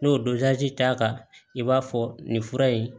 N'o dorazi t'a kan i b'a fɔ nin fura in